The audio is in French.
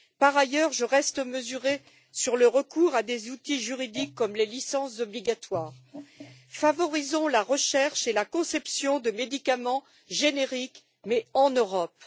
Par ailleurs, je reste mesurée sur le recours à des outils juridiques comme les licences obligatoires favorisant la recherche et la conception de médicaments génériques mais en Europe.